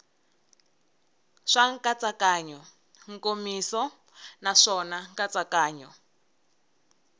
swa nkatsakanyo nkomiso naswona nkatsakanyo